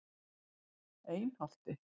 Einholti